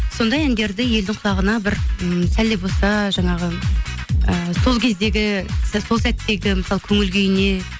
сондай әндерді елдің құлағына бір м сәл де болса жаңағы ы сол кездегі сол сәттегі мысалы көңілкүйіне